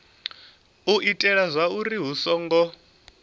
u itela zwauri hu songo